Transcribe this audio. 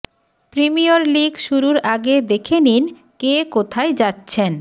premier league শুরুর আগে দেখে নিন কে কোথায় যাচ্ছেন